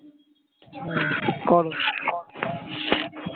হম call